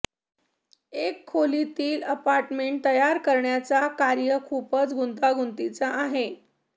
एक खोलीतील अपार्टमेंट तयार करण्याचा कार्य खूपच गुंतागुंतीचा आहे